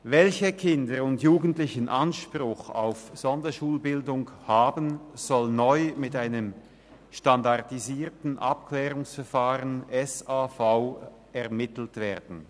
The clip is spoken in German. Welche Kinder und Jugendlichen Anspruch auf Sonderschulbildung haben, soll neu mit einem standardisierten Abklärungsverfahren (SAV) ermittelt werden.